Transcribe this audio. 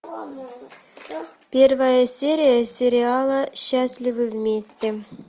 первая серия сериала счастливы вместе